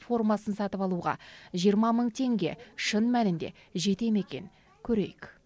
формасын сатып алуға теңге шын мәнінде жете ме екен көрейік